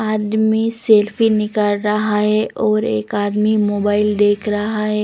आदमी सेल्फी निकाल रहा है और एक आदमी मोबाइल देख रहा है.